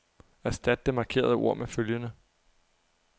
Erstat det markerede ord med følgende.